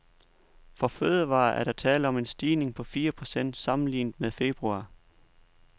For fødevarer er der tale om en stigning på fire procent sammenlignet med februar.